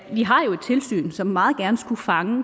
vi har jo et tilsyn som meget gerne skulle fange